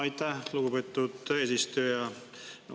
Aitäh, lugupeetud eesistuja!